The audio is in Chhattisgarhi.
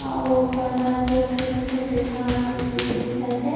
अउर ओकर ईहा तो छोटे-छोटे घास उपजिस हे दिखत हे।